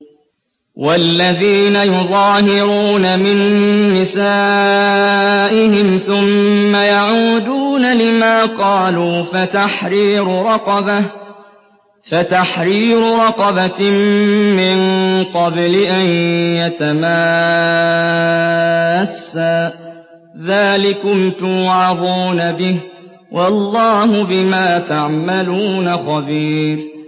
وَالَّذِينَ يُظَاهِرُونَ مِن نِّسَائِهِمْ ثُمَّ يَعُودُونَ لِمَا قَالُوا فَتَحْرِيرُ رَقَبَةٍ مِّن قَبْلِ أَن يَتَمَاسَّا ۚ ذَٰلِكُمْ تُوعَظُونَ بِهِ ۚ وَاللَّهُ بِمَا تَعْمَلُونَ خَبِيرٌ